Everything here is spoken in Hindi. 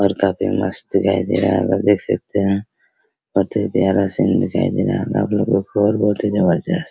काफी मस्त दिखाई दे रहा है आप देख सकते है बहुत ही प्यारा सीन दिखाई दे रहा होगा आपको देख सकते है और बहुत ही जबरदस्त।